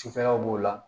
Sufɛlaw b'o la